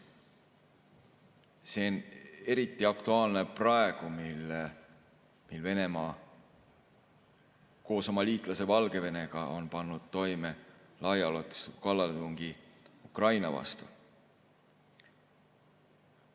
See on eriti aktuaalne praegu, mil Venemaa koos oma liitlase Valgevenega on pannud toime laiaulatusliku kallaletungi Ukraina vastu.